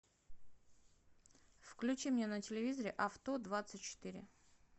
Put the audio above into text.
включи мне на телевизоре авто двадцать четыре